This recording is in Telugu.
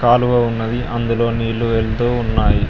కాలువ ఉన్నది అందులో నీళ్లు వెళ్తూ ఉన్నాయి.